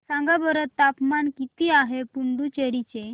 सांगा बरं तापमान किती आहे पुडुचेरी चे